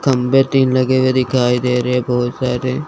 खंभे में तीन लगे हुए दिखाई दे रहे है बहुत सारे--